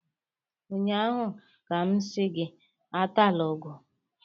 ụnyaahụ ka m si gị atala ugu!